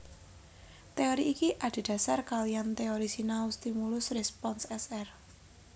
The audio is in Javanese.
Teori iki adhédhasar kaliyan teori sinau stimulus respons S R